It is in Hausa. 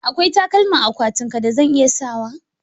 Akwai takalma a akwatinki da zan iya sawa?